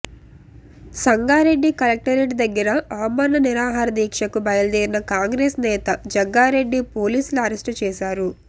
Sangareddy collectorate దగ్గర అమరణ నిరాహారదీక్ష కు బయల్దేరిన కాంగ్రెస్ నేత జగ్గారెడ్డి పోలీసులు అరెస్టు చేశారు